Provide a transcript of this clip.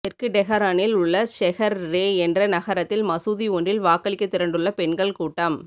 தெற்கு டெஹரானில் உள்ள ஷெஹர் ரே என்ற நகரத்தில் உள்ள மசூதி ஒன்றில் வாக்களிக்க திரண்டுள்ள பெண்கள் கூட்டம்